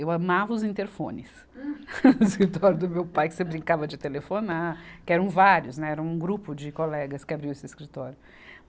Eu amava os interfones no escritório do meu pai, que você brincava de telefonar, que eram vários, né, era um grupo de colegas que abriu esse escritório.